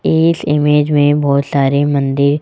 इस इमेज में बहोत सारे मंदिर--